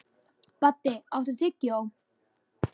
Baddi, áttu tyggjó?